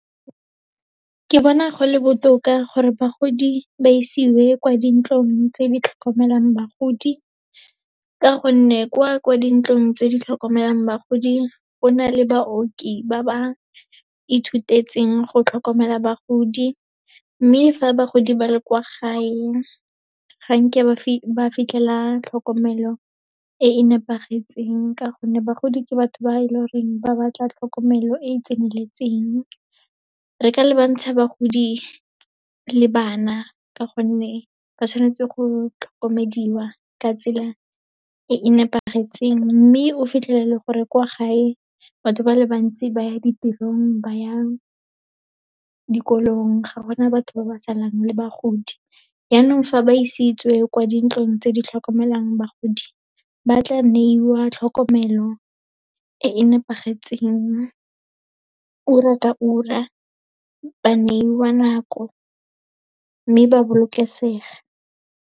Ke bona go le botoka gore bagodi ba isiwe kwa dintlong tse di tlhokomelang bagodi, ka gonne kwa ko dintlong tse di tlhokomelang bagodi, go na le baoki ba ba ithutetseng go tlhokomela bagodi. Mme fa bagodi ba le kwa gae, ga nke ba fitlhela tlhokomelo e e nepagetseng, ka gonne bagodi ke batho ba e leng goreng ba batla tlhokomelo e e tseneletseng. Re ka lebantsha bagodi le bana, ka gonne ba tshwanetse go tlhokomediwa ka tsela e e nepagetseng, mme o fitlhelele gore kwa gae batho ba le bantsi ba ya ditirong, ba yang dikolong, ga gona batho ba ba salang le bagodi. Yaanong fa ba isitswe kwa dintlong tse di tlhokomelang bagodi, ba tla neiwa tlhokomelo e e nepagetseng, ura ka ura ba neiwa nako, mme ba bolokesega.